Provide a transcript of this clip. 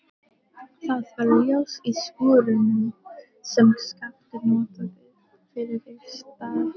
Það var ljós í skúrnum sem Skapti notaði fyrir vistarveru.